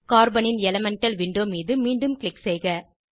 கார்பனின் elemental window மீது மீண்டும் க்ளிக் செய்க